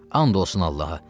And olsun Allaha.